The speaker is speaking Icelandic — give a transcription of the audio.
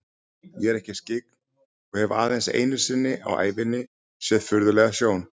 Ég er ekki skyggn og hef aðeins einu sinni á ævinni séð furðulega sjón.